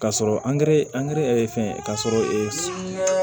K'a sɔrɔ an gɛrɛ angɛrɛ fɛngɛ k'a sɔrɔ